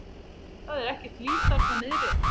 Það er ekkert líf þarna niðri.